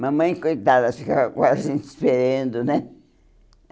Mamãe, coitada, ficava quase esperando, né?